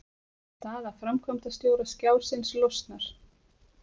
Staða framkvæmdastjóra Skjásins losnar